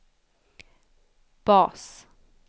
bas